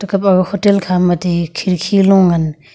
aba hotel khama ti khirki long ngan.